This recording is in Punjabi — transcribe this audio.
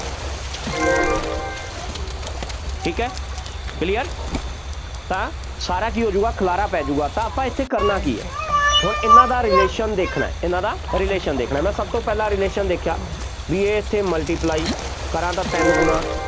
ਠੀਕ ਹੈ clear ਤਾਂ ਸਾਰਾ ਕੀ ਹੋਜੂਗਾ, ਖਿਲਾਰਾ ਪੈ ਜਾਊਗਾ, ਆਪਾਂ ਇੱਥੇ ਕਰਨਾ ਕੀ ਹੈ, ਹੁਣ ਇਹਨਾ ਦਾ relation ਦੇਖਣਾ, ਇਹਨਾ ਦਾ relation ਦੇਖਣਾ, ਮੈਂ ਸਭ ਤੋਂ ਪਹਿਲਾਂ relation ਦੇਖਿਆ, ਬਈ ਇਹ ਇੱਥੇ multiply ਕਰਾਂ ਤਾਂ ਤਿੰਨ ਗੁਣਾ